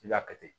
I y'a kɛ ten